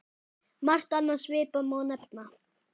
Margt annað svipað má nefna.